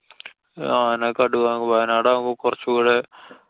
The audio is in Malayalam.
ആന, കടുവ, വയനാടാവുമ്പോ കൊറച്ചൂടെ